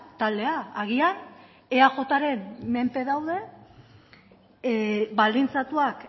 taldea agian eajren menpe daude baldintzatuak